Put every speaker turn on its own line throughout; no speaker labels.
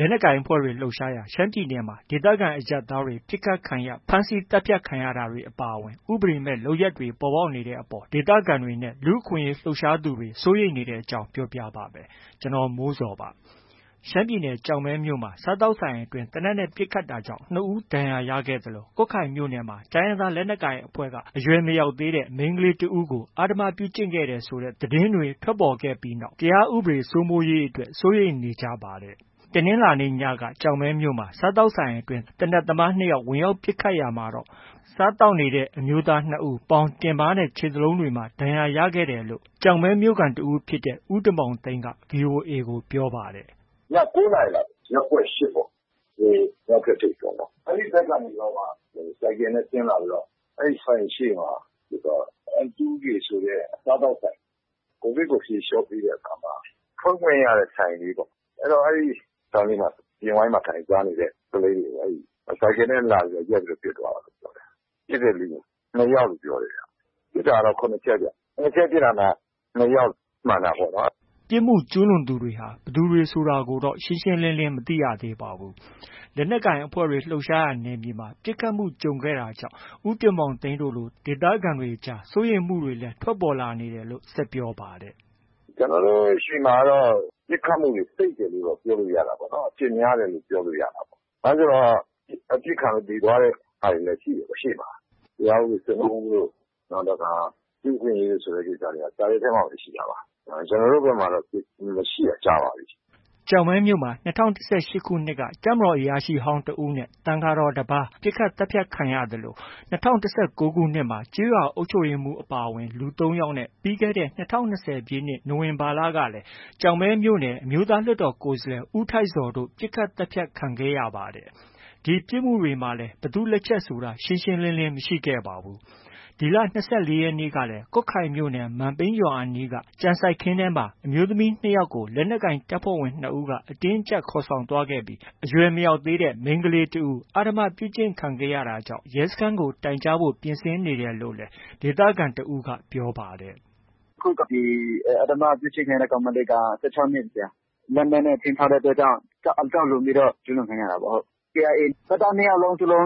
လက်နက်ကိုင်အဖွဲ့တွေ လှုပ်ရှားရာ ရှမ်းပြည်နယ်မှာ ဒေသခံအရပ်သားတွေ ပစ်ခတ်ခံရ၊ ဖမ်းဆီးသတ်ဖြတ်ခံရတာတွေ အပါအဝင် ဥပဒေမဲ့ လုပ်ရပ်တွေ ပေါ်ပေါက်နေတဲ့အပေါ် ဒေသခံတွေနဲ့ လူ့အခွင့်အရေး လှုပ်ရှားသူတွေ စိုးရိမ်နေတဲ့အကြောင်း ပြောပြပါမယ်။ ဗွီအိုအေမြန်မာပိုင်းသတင်းထောက် ကိုမိုးဇော်သတင်းပေးပို့ထားပါတယ်။ ရှမ်းပြည်နယ် ကျောက်မဲမြို့မှာ စားသောက်ဆိုင်တစ်ဆိုင်အတွင်း သေနတ်နဲ့ ပစ်ခတ်ခဲ့တာကြောင့် ၂ ဦး ဒဏ်ရာရခဲ့သလို၊ ကွတ်ခိုင်မြို့နယ်မှာ တိုင်းရင်းသားလက်နက်ကိုင် အဖွဲ့က အရွယ်မရောက်သေးတဲ့ မိန်းကလေးတစ်ဦးကို အဓမ္မပြု့ကျင့်ခဲ့တယ်ဆိုတဲ့ သတင်းတွေ ထွက်ပေါ်ခဲ့ပြီးနောက် တရားဥပဒေစိုးမိုးရေးအတွက် စိုးရိမ်နေကြပါတယ်။ တနင်္လာနေ့ ညက ကျောက်မဲမြို့ စားသောက်ဆိုင်ထဲ သေနတ်သမား ၂ ဦး ဝင်ရောက်ပစ်ခတ်ရာမှာတော့ စားသောက်နေတဲ့ အမျိုးသား ၂ဦး ပေါင်၊ တင်ပါးနဲ့ ခြေသလုံးတွေမှာ ဒဏ်ရာရခဲ့တယ်လို့လည်း ကျောက်မဲမြို့ခံတစ်ဦးဖြစ်တဲ့ ဦးတင်မောင်သိန်းက VOA ကို ပြောပါတယ်
။ “ ည ၉နာရီလောက်၊ ရပ်ကွက်၈ ပေါ့။ မြောက်ဘက်ထိပ်ပေါ့နော်။ အဲဒီဘက်ကနေပြီးတော့မှ ဆိုင်ကယ်နဲ့ ဆင်းလာပြီး အဲဒီဆိုင်ရှေ့မှာ ပစ်သွားတာ။ အမ်တူးကေ ဆိုတဲ့ စားသောက်ဆိုင်။ COVID ကို ဖြေလျော့ပေးတဲ့အချိန်မှာ ဖွင့်ခွင့်ရတဲ့ ဆိုင်လေးပေါ့။ အဲတော့ အဲဒီဆိုင်လေးမှာ အပြင်ဝိုင်းမှာ ထိုင်စားနေတဲ့ ကလေးတွေကို ဆိုင်ကယ်နဲ့လာပြီး ရပ်ပြီး ပစ်သွားတာပေါ့။ ပစ်တဲ့လူ ၂ယောက်လို့ ပြောတယ်။ ပစ်တာကတော့ ၇ချက်ဗျ။ ၇ချက်ပစ်တာမှာ ၂ယောက် မှန်တာပေါ့နော်။”
ပစ်ခတ်မှု ကျုးလွန်သူတွေဟာ ဘယ်သူတွေဆိုတာကိုတော့ ရှင်းရှင်းလင်းလင်း မသိရသေးပါဘူး။ လက်နက်ကိုင် အဖွဲ့တွေ လှုပ်ရှားရာ နယ်မြေမှာ ပစ်ခတ်မှုကြုံခဲ့ရတာကြောင့် ဦးတင်မောင်သိန်းတို့လို ဒေသခံတွေကြား စိုးရိမ်မှုတွေလည်း ထွက်ပေါ်လာနေတယ်လို့ ဆက်ပြောပါတယ်။
“ ပစ်ခတ်မှုတွေ စိပ်တယ်လို့တော့ ပြောလို့ ရတာပေါ့နော်။ အဖြစ်များတယ်လို့ ပြောလို့ ရတာပေါ့။ ဘာလို့လဲဆိုတော့ အပစ်ခံရလို့ သေသွားတဲ့ဟာတွေလည်း ရှိတယ်။ ရှေ့မှာ။ တရားဥပဒေစိုးမိုးမှုတို့၊ နောက်တစ်ခါ လူ့အခွင့်အရေးတို့ ဆိုတဲ့ဥစ္စာ စာရွက်ထဲမှာပဲ ရှိတာပါ။ ကျနော်တို့ ဆီမှာတော့ မရှိတာကြာပါပြီ။
” ကျောက်မဲမြို့မှာ ၂၀၁၈ ခုနှစ်က တပ်မတော်အရာရှိဟောင်းတစ်ဦးနဲ့ သံဃာတော်တပါး ပစ်ခတ်သတ်ဖြတ်ခံရသလို ၂၀၁၉ နှစ်ခုမှာ ကျေးရွာအုပ်ချုပ်ရေးမှုးအပါအဝင် လူ၃ယောက်နဲ့ ပြီးခဲ့တဲ့ ၂၀၂၀ ပြည့်နှစ် နိုဝင်ဘာလကလည်း ကျောက်မဲမြို့နယ် အမျိုးသားလွှတ်တော်ကိုယ်စားလှယ် ဦးထိုက်ဇော်တို့ ပစ်ခတ်သတ်ဖြတ်ခံခဲ့ရပါတယ်။ ဒီပစ်ခတ်မှုတွေမှာလည်း ဘယ်သူ့လက်ချက်ဆိုတာ ရှင်းရှင်းလင်းလင်း မရှိခဲ့ပါဘူး။ ဒီလ ၂၄ရက်နေ့ကလည်း ကွတ်ခိုင်မြို့နယ် မန်ပိန်းရွာအနီး ကြံစိုက်ခင်းထဲမှာ မိန်းကလေး ၂ယောက်ကို လက်နက်ကိုင်တပ်ဖွဲ့ဝင် ၂ဦးက အတင်းအကျပ်ခေါ်ဆောင်သွားခဲ့ပြီး အရွယ်မရောက်သေးတဲ့ မိန်းကလေးတစ်ဦး အဓမ္မပြု့ကျင့်ခံခဲ့ရတာကြောင့် ရဲစခန်းကို တိုင်ကြားဖို့ ပြင်ဆင်နေတယ်လို့လည်း ဒေသခံတစ်ဦးက ပြောပါတယ်။
“ အခု ဒီအဓမ္မကျူးလွန်ခံရတဲ့ ကောင်မလေးက ၁၆နှစ်။ လက်နက်နဲ့ ခြိမ်းခြောက်တဲ့အတွက်ကြောင့် အကြောက်လွန်ပြီးတော့ ကျူးလွန်ခံရတာပေါ့။ KIA တပ်သား ၂ယောက်လုံး ကျူးလွ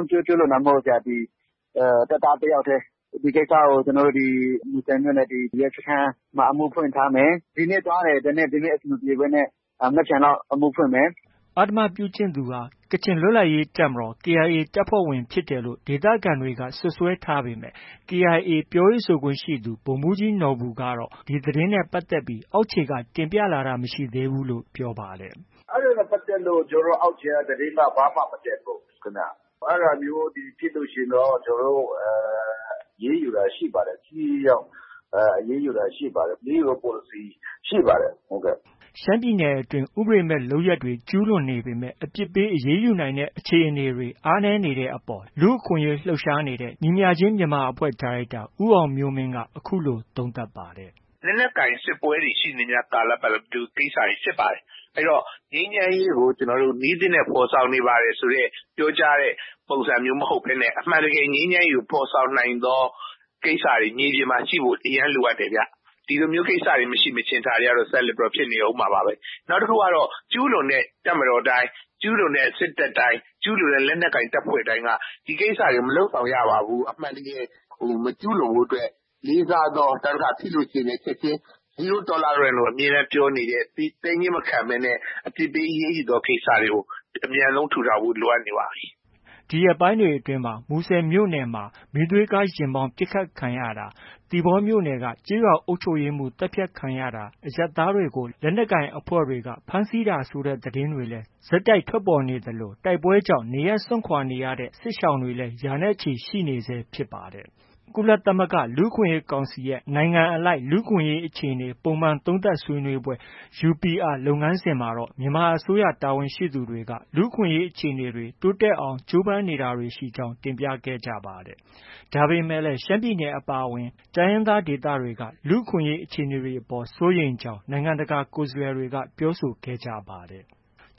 န်တာမဟုတ်ဘူး။ တပ်သားတစ်ယောက်တည်း။ ဒီကိစ္စကို မူဆယ်မြို့နယ် ဒီရဲစခန်း အမှုဖွင့်ထားမယ်။ ဒီနေ့သွားတယ် ဒါပေမဲ့ ဒီနေ့ အဆင်မပြေဘဲနဲ့ မနက်ဖြန်လောက် အမှုဖွင့်မယ်။
” အဓမ္မပြုကျင့်သူဟာ ကချင်လွတ်လပ်ရေးတပ်မတော် KIA တပ်ဖွဲ့ဝင်ဖြစ်တယ်လို့ ဒေသခံတွေက စွပ်စွဲထားပေမဲ့ KIA ပြောရေးဆိုခွင့်ရှိသူ ဗိုလ်မှူးကြီးနော်ဘူကတော့ ဒီသတင်းနဲ့ ပတ်သက်ပြီးအောက်ခြေက တင်ပြလာတာမရှိသေးဘူးလို့ ပြောပါတယ်။
“ အဲဒါနဲ့ပတ်သက်လို့ ကျနော်တို့ အောက်ခြေက သတင်း ဘာမှ မတက်ဘူးခင်ဗျ။ အဲဒါမျိုးဖြစ်လို့ရှိရင်တော့ ကျနော်တ
ို့ အရေးယူတာ ရှိပါတယ်။ ထိထိရောက်ရောက် အရေးယူတာရှိပါတယ်။ အရေးယူတဲ့ ပေါ်လစီ
ရှိပါတယ်။” ရှမ်းပြည်နယ်အတွင်း ဥပဒေမဲ့ လုပ်ရပ်တွေ ကျုးလွန်နေပေမဲ့ အပြစ်ပေး အရေးယူနိုင်တဲ့ အခြေအနေတွေ အားနည်းနေတဲ့အပေါ် လူ့အခွင့်အရေး လှုပ်ရှားနေတဲ့ ညီမျှခြင်း မြန်မာ အဖွဲ့ ဒါရိုက်တာ ဦးအောင်မျိုးမင်းက အခုလို သုံးသပ်ပါတယ်။
“ လက်နက်ကိုင်ပဋိပက္ခတွေရှိနေရင် ဒီလို ကိစ္စတွေဖြစ်ပါတယ်။ အဲတော့ ငြိမ်းချမ်းရေးကို နည်းသစ်နဲ့ ဖော်ဆောင်နေပါတယ်ဆိုတဲ့ ပြောကြားတဲ့ ပုံစံမျိုးမဟုတ်ဘဲနဲ့ အမှန်တကယ်ငြိမ်းချမ်းရေးကို ဖော်ဆောင်နိုင်သော ကိစ္စတွေ မြေပြင်မှာ ရှိဖို့ အရမ်းလိုအပ်တယ်ဗျ။ ဒီလိုကိစ္စတွေမရှိမချင်း ဒါတွေကတော့ ဆက်လက်ပြီး ဖြစ်နေအုံးမှာပါပဲ။ နောက်တစ်ခုကတော့ ကျူးလွန်တဲ့ တပ်မတော်တိုင်း၊ ကျူးလွန်တဲ့ စစ်တပ်တိုင်း၊ ကျူးလွန်တဲ့ လက်နက်ကိုင် တပ်ဖွဲ့တိုင်းက ဒီကိစ္စတွေကို မလုပ်ဆောင်ရပါဘူး။ အမှန်တကယ် မကျူးလွန်ဖို့အတွက် လေးစားသော နောက်တစ်ခါ သိလို့ ရှိရင်လည်း ချက်ချင်း Zeor Tolerance လို့ ခေါ်တဲ့ သည်းညည်းမခံဘဲ အပြစ်ပေးအရေးယူသော ကိစ္စတွေကို အမြန်ဆုံး ထူထောင်ဖို့ လိုအပ်နေပါတယ်။
” ဒီရက်ပိုင်းတွေအတွင်း မူဆယ်မြို့နယ်အတွင်းမှာ မီးသွေးကားယာဉ်မောင်းပစ်ခတ်ခံရတာ၊ သီပေါမြို့နယ်က ကျေးရွာအုပ်ချုပ်ရေးမှုးသတ်ဖြတ်ခံရတာ၊ အရပ်သားတွေကို လက်နက်ကိုင်အဖွဲ့တွေက ဖမ်းဆီးတာ ဆိုတဲ့သတင်းတွေလည်း ဆက်တိုက်ဆိုသလို ထွက်ပေါ်နေသလို တိုက်ပွဲကြောင့် နေရပ်စွန့်ခွာနေရတဲ့ စစ်ရှောင် ရာနဲ့ချီ ရှိနေဆဲဖြစ်ပါတယ်။ ကုလသမဂ္ဂလူ့အခွင့်အရေးကောင်စီရဲ့ နိုင်ငံအလိုက်လူ့အခွင့်အရေး အခြေအနေ ပုံမှန်သုံးသပ်ဆွေးနွေးပွဲ UPR လုပ်ငန်းစဉ်မှာတော့ မြန်မာအစိုးရ တာဝန်ရှိသူတွေက လူ့အခွင့်အရေး အခြေအနေတွေ တိုးတက်အောင် ကြိုးပမ်းမှုတွေ ရှိနေကြောင်း တင်ပြခဲ့ကြပါတယ်။ ဒါပေမဲ့လည်း ရှမ်းပြည်နယ် အပါအဝင် တိုင်းရင်းသား ဒေသတွေက လူ့အခွင့်အရေး အခြေအနေေတွေအပေါ် စိုးရိမ်ကြောင်း နိုင်ငံတကာ ကိုယ်စားလှယ်တွေက ပြောဆိုခဲ့ကြပါတယ်။